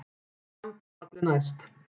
Dramb er falli næst.